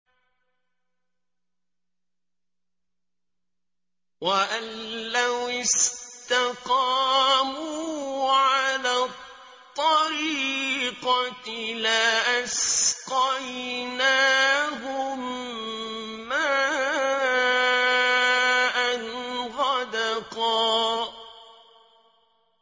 وَأَن لَّوِ اسْتَقَامُوا عَلَى الطَّرِيقَةِ لَأَسْقَيْنَاهُم مَّاءً غَدَقًا